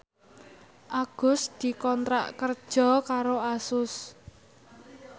Agus dikontrak kerja karo Asus